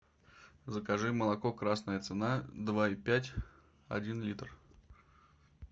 закажи молоко красная цена два и пять один литр